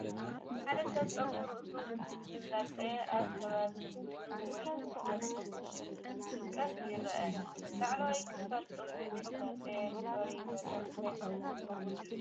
ሓደ ሰብ ፀጉሪ ርእሱ እንልፀ ኣብ ከባቢ እዝኑ ወይ መስመር ጸጉሩ ክንትምቀስ ይረአ። ላዕለዋይ ክፋል ጸጉሩ ዘይተላጽየ ቀሪዩ ዘሎ እንታይ ክኸውን እዩ?